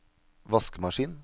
vaskemaskin